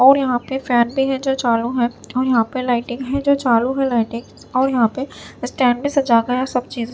और यहां पे फैन भी है जो चालू है और यहां पे लाइटिंग है जो चालू है लाइटिंग और यहां पे सब चीज--